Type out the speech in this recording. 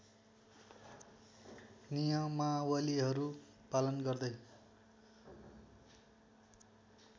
नियमावलीहरू पालन गर्दै